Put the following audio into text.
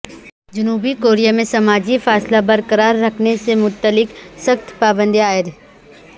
جنوبی کوریا میں سماجی فاصلہ برقرار رکھنے سے متعلق سخت پابندیاں عائد